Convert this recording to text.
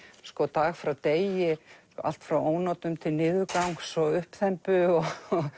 dag frá degi allt frá ónotum til niðurgangs og uppþembu og